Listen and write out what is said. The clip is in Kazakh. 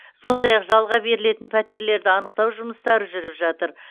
сондай ақ жалға берілетін пәтерлерді анықтау жұмыстары жүріп жатыр